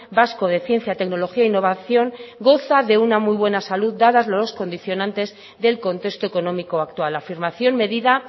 vasco de ciencia tecnología e innovación goza de una muy buena salud dada los condicionantes del contexto económico actual afirmación medida